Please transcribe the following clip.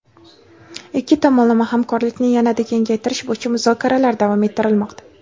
Ikki tomonlama hamkorlikni yanada kengaytirish bo‘yicha muzokaralar davom ettirilmoqda.